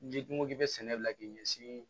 N'i ko k'i bɛ sɛnɛ la k'i ɲɛsin